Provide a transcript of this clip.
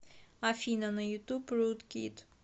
афина на ютуб руд кид